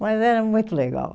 Mas era muito legal.